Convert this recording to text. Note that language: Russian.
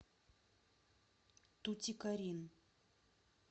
тутикорин